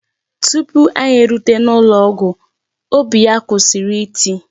Tupu anyị erute n'ụlọọgwụ, óbì ya kwụsị iti.